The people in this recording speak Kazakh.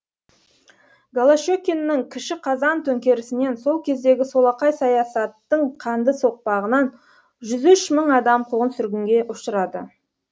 голощекиннің кіші қазан төңкерісінен сол кездегі солақай саясаттың қанды соқпағынан жүз үш мың адам қуғын сүргінге ұшырады